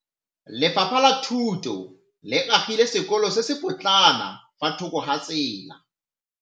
Lefapha la Thuto le agile sekôlô se se pôtlana fa thoko ga tsela.